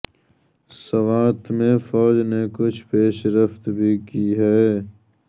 سوات میں فوج نے کچھ پیش رفت بھی کی ہے